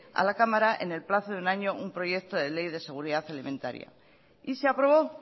a la cámara en el plazo de un año un proyecto de ley de seguridad alimentaria y se aprobó